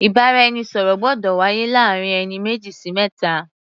Ìbáraẹnisọ̀rọ̀ gbọ́dọ̀ wáyé láàrin ẹni méjì sí mẹ́ta.